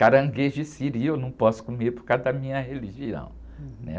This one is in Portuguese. Caranguejo e siri eu não posso comer por causa da minha religião, né?